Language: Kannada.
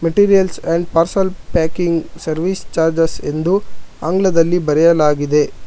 Materials and file parcel packing service charges ಎಂದು ಆಂಗ್ಲದಲ್ಲಿ ಬರೆಯಲಾಗಿದೆ.